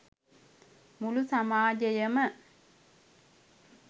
මුළු සමාජයම